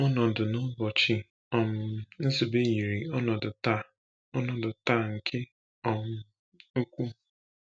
Ọnọdụ n’ụbọchị um Nzube yiri ọnọdụ taa ọnọdụ taa nke um ukwuu.